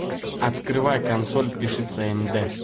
открывай консоль пиши цнд